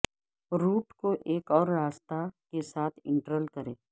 route کو ایک اور راستہ کے ساتھ انٹرل کریں